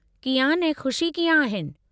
कियान ऐं ख़ुशी कीअं आहिनि?